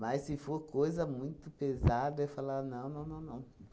se for coisa muito pesada, eu ia falar, não, não, não, não.